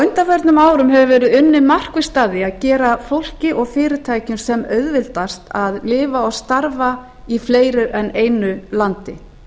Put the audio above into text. undanförnum árum hefur verið unnið markvisst að því að gera fólki og fyrirtækjum sem auðveldast að lifa og starfa í fleiru en einu landi